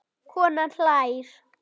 Konan hlær.